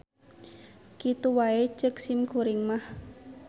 Kitu wae ceuk simkuring mah.